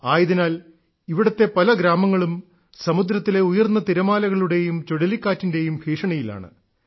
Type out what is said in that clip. ആയതിനാൽ ഇവിടത്തെ പല ഗ്രാമങ്ങളും സമുദ്രത്തിലെ ഉയർന്ന തിരമാലകളുടെയും ചുഴലിക്കാറ്റിന്റെയും ഭീഷണിയിലാണ്